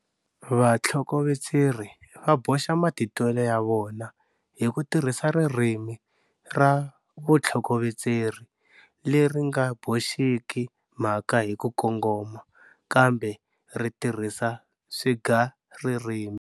Vatlhokovetseri va boxa matitwelo ya vona hi ku tirhisa ririmi ra vutlhokovetseri leri nga boxiki mhaka hi ku kongoma kambe ri tirhisa swigaririmi.